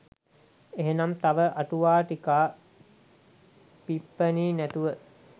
එහෙනම් තව අටුවා ටිකා ටිප්පනි නැතුව